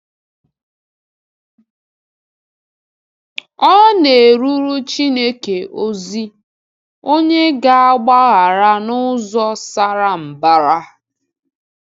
Ọ nērụrụ Chineke ozi, onye “gāgbaghara n’ụzọ sara mbara.”